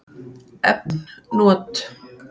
Efn not